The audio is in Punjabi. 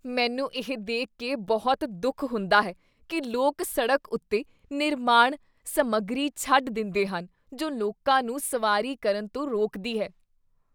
ਮੈਨੂੰ ਇਹ ਦੇਖ ਕੇ ਬਹੁਤ ਦੁੱਖ ਹੁੰਦਾ ਹੈ ਕੀ ਲੋਕ ਸੜਕ ਉੱਤੇ ਨਿਰਮਾਣ ਸਮੱਗਰੀ ਛੱਡ ਦਿੰਦੇਹਨ ਜੋ ਲੋਕਾਂ ਨੂੰ ਸਵਾਰੀ ਕਰਨ ਤੋਂ ਰੋਕਦੀ ਹੈ।